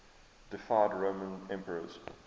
deified roman emperors